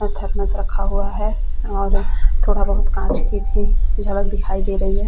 Thermos रखा हुआ है और थोड़ा बहुत कांच की भी झलक दिखाई दे रही है।